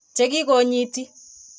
Che kikonyiti.